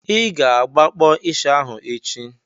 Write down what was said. I ga-agbakpọ ịsha ahụ echi!